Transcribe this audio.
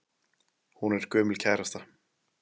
Hún er gömul kærasta.